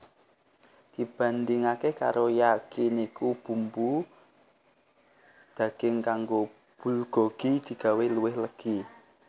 Dibandingaké karo Yakiniku bumbu daging kanggo bulgogi digawé luwih legi